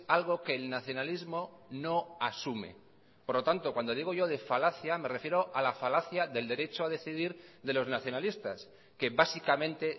algo que el nacionalismo no asume por lo tanto cuando digo yo de falacia me refiero a la falacia del derecho a decidir de los nacionalistas que básicamente